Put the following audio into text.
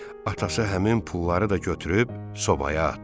Atası həmin pulları da götürüb sobaya atdı.